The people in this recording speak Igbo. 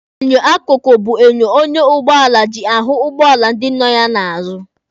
Enyo akụkụ bụ enyo ọnya ụgbọala ji ahụ ụgbọala ndị nọ ya n'azụ.